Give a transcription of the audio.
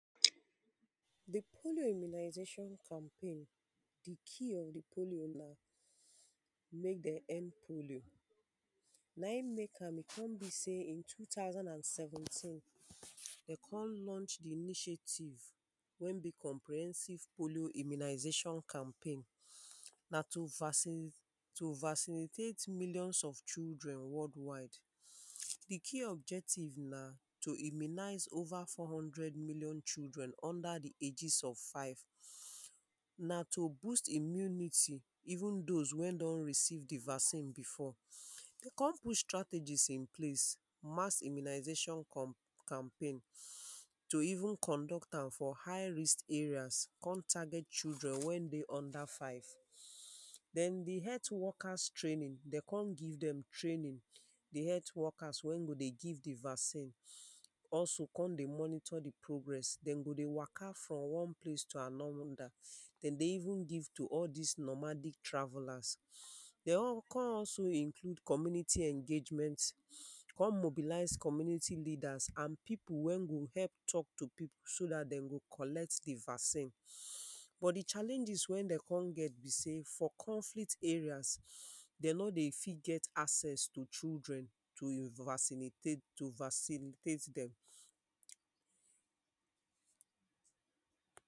The polio immunization campaign. The key of the polio na make den end polio. na im make am e go be say in two thousand and seventeen, den con launch the initiative wey be comprehensive polio immunization campaign na to vaccine to vaccinitate millions of children world wide The key objective na to immunize over four hundred million children under the ages of five. Na to use immunity even those wey don receive the vaccine before dey con put strategies in place mass immu immunization com campaign to even conduct am for high risked areas con target children wey dey under five. then the health workers training dey con give them training, the health workers wey go dey give them vaccine. Also con dey monitor the progress den go dey waka from one place to another den dey even give to all this nomadic, travellers dey (urn) con also include community engagement con mobilize community leaders and pipu wey go help talk to so that they go collect the vaccine. Bet the challenges wen dey con get be say say for conflict areas, den no dey fit get access to children to invaccinitate (urn) to vaccinitate them.